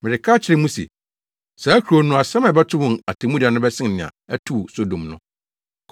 Mereka akyerɛ mo se, saa kurow no, asɛm a ɛbɛto wɔn atemmuda no bɛsen nea ɛtoo Sodom no.